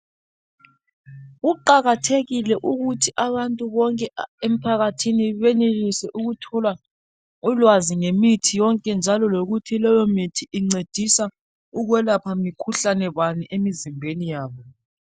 Kuqakathekile ukuthi abantu bonke emphakathini benelise ukuthola ulwazi ngemithi yonke njalo lokuthi leyo mithi incedisa ukwelapha mikhuhlane bani emizimbeni yabo.